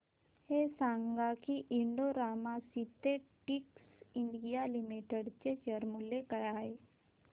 हे सांगा की Indo Rama synthetics India limited चे शेअर मूल्य काय आहे